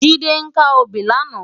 Jide kâ óbì làná